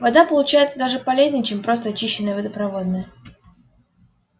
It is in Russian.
вода получается даже полезнее чем просто очищенная водопроводная